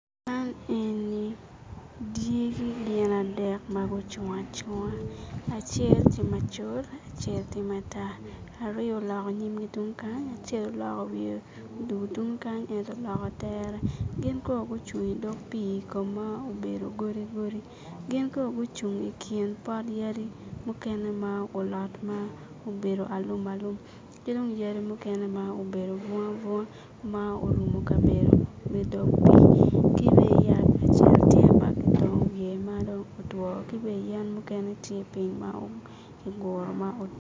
Man eni dyegi gin adek ma gucung acunga acel tye macol acel tye matar aryo oloko nyimgi tung kany acel okoko wiye odugu tung kany ento oloko tere gin kono gucung idog pii ka ma obedo godi godi gin kono gucung I kin pot yadi mukene ma olot ma obedo alumalum ki dong yadi mukene ma obedo bunga bunga ma orumo kabedo me dog pii ki bene yat acel tye ma kitongo wiye ma dong otwo ki bene yen mukene tye piny ma kiguro ma